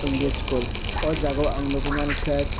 english school o jaga ang nogoi mangka.